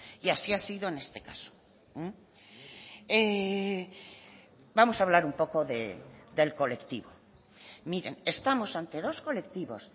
y así ha sido en este caso vamos a hablar un poco del colectivo miren estamos ante dos colectivos